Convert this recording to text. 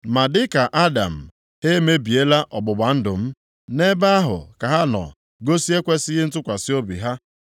Ma dịka Adam, ha emebiela ọgbụgba ndụ m; nʼebe ahụ ka ha nọ gosi ekwesighị ntụkwasị obi ha.